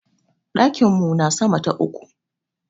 Ɗakin mu na sama ta uku.